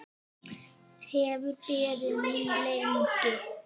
Hefur beðið mín lengi.